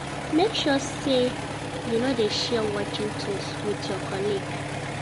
Make sure say you no de share working tools with your colleague